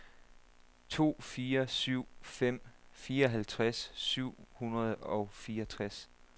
to fire syv fem fireoghalvfjerds syv hundrede og fireogtres